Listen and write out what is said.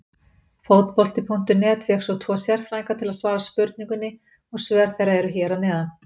Fótbolti.net fékk tvo sérfræðinga til að svara spurningunni og svör þeirra eru hér að neðan.